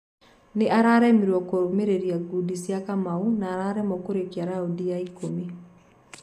Nĩararemirwo kũmĩrĩria gudi cia Kamau na araremwo kũrĩkia raundi ya ikũmi